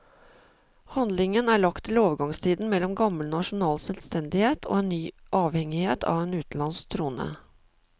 Handlingen er lagt til overgangstiden mellom gammel nasjonal selvstendighet og en ny avhengighet av en utenlandsk trone.